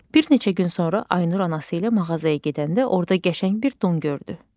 Bir neçə gün sonra Aynur anası ilə mağazaya gedəndə orda qəşəng bir don gördü.